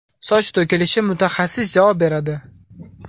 Soch to‘kilishi – mutaxassis javob beradi.